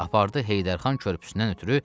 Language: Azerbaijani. Apardı Heydər xan körpüsündən ötrü.